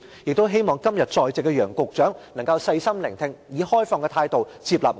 我希望今天在席的楊局長能夠細心聆聽，以開放的態度接納我們的意見。